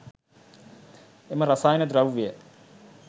එම රසායන ද්‍රව්‍යය